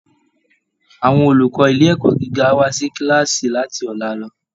Àwọn olùkọ́ ilé ẹ̀kọ́ gíga á wá sí kíláàsì láti ọ̀la lọ